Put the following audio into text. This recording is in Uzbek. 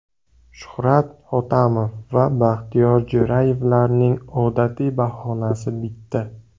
Shuhrat Hotamov va Baxtiyor Jo‘rayevlarning odatiy bahonasi bitta.